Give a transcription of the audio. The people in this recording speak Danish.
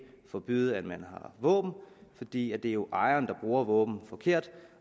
forbyde at man har våben fordi det jo er ejeren der bruger våbnet forkert